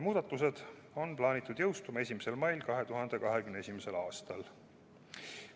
Muudatused on plaanitud jõustuma 1. mail 2021. aastal.